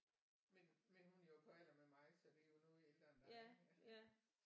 Men men hun er jo på alder med mig så det er jo noget ældre end dig